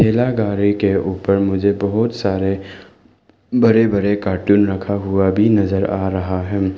ठेला गाड़ी के ऊपर मुझे बहोत सारे बड़े बड़े कार्टून रखा हुआ भी नजर आ रहा है।